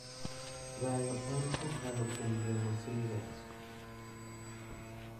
Gayo en kokalo kuom geng'o seizures.